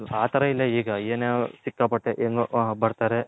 ಆ ತರ ಇಲ್ಲ ಈಗ ಎನ್ನೋ ಸಿಕ್ಕಾಪಟ್ಟೆ ಎಂಗೋ ಬರ್ತಾರೆ